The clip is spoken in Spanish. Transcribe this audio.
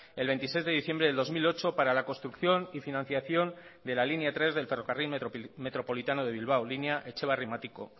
el veintiséis de diciembre del dos mil ocho para la construcción y financiación de la línea tres del ferrocarril metropolitano de bilbao línea etxebarri matiko